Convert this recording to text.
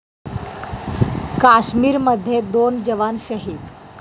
काश्मीरमध्ये दोन जवान शहीद